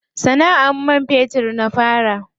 Sana'ar man fetur na fara.